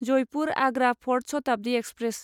Jaipur Agra fort Shatabdi express